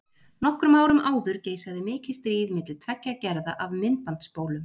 Nokkrum árum áður geisaði mikið stríð milli tveggja gerða af myndbandsspólum.